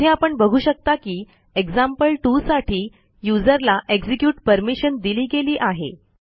येथे आपण बघू शकता की एक्झाम्पल2 साठी यूझर ला एक्झिक्युट परमिशन दिली गेली आहे